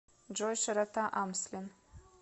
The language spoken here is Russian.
джой широта амслен